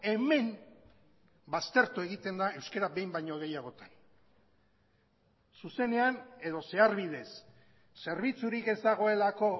hemen baztertu egiten da euskara behin baino gehiagotan zuzenean edo zeharbidez zerbitzurik ez dagoelako